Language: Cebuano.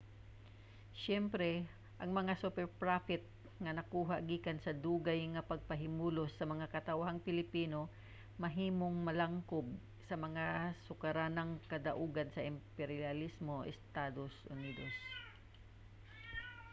siyempre ang mga superprofit nga nakuha gikan sa dugay nga pagpahimulos sa mga katawhang pilipino mahimong maglangkob sa mga sukaranang kadaugan sa imperyalismong estados unidos